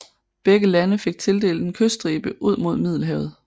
Begge lande fik tildelt en kyststribe ud mod Middelhavet